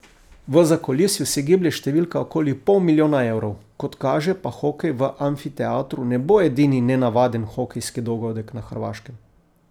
V zakulisju se giblje številka okoli pol milijona evrov, kot kaže, pa hokej v amfiteatru ne bo edini nenavaden hokejski dogodek na Hrvaškem.